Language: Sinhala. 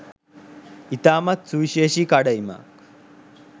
ඉතාමත් සුවිශේෂී කඩඉමක්.